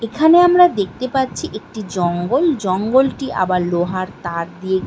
এখানে আমরা দেখতে পাচ্ছি একটি জঙ্গল। জঙ্গলটি আবার লোহার তার দিয়ে --